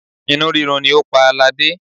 Inú rírun ni ó pa ladé.